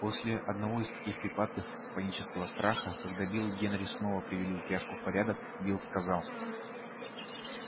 после одного из таких припадков панического страха когда билл генри снова привели упряжку в порядок билл сказал